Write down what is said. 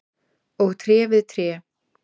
og tré við tré.